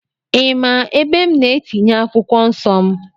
Ị ma ebe m na-etinye akwụkwọ nsọ m?